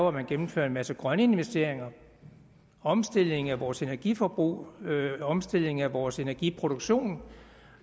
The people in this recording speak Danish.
at man gennemfører en masse grønne investeringer en omstilling af vores energiforbrug en omstilling af vores energiproduktion